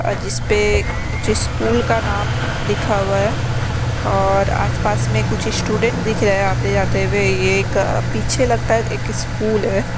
जिस पे कुछ स्कूल का नाम लिखा हुआ है और आसपास में कुछ स्टूडेंट दिख रहे हैं आते-जाते हुए ये एक पीछे लगता है एक स्कूल है।